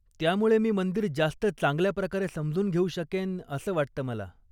त्यामुळे मी मंदिर जास्त चांगल्याप्रकारे समजून घेऊ शकेन असं वाटतं मला.